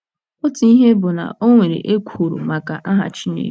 Otu ihe bụ na o nwere ekworo maka aha Chineke.